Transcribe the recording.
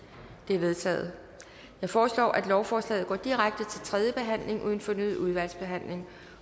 er vedtaget jeg foreslår at lovforslaget går direkte til tredje behandling uden fornyet udvalgsbehandling